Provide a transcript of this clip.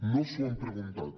no s’ho han preguntat